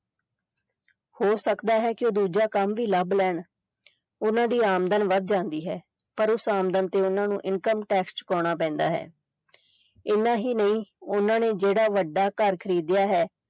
ਹੋ ਸਕਦਾ ਹੈ ਕਿ ਉਹ ਦੂਜਾ ਕੰਮ ਵੀ ਲੱਭ ਲੈਣ ਉਹਨਾਂ ਦੀ ਆਮਦਨ ਵੱਧ ਜਾਂਦੀ ਹੈ ਪਰ ਉਸ ਆਮਦਨ ਤੇ ਉਹਨਾਂ ਨੂੰ income tax ਚੁਕਾਉਣਾ ਪੈਂਦਾ ਹੈ ਇੰਨਾ ਹੀ ਨਹੀਂ ਉਹਨਾਂ ਨੇ ਜਿਹੜਾ ਵੱਡਾ ਘਰ ਖ਼ਰੀਦਿਆ ਹੈ